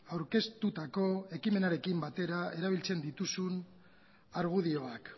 aurkeztutako ekimenarekin batera erabiltzen dituzun argudioak